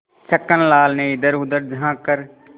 छक्कन लाल ने इधरउधर झॉँक कर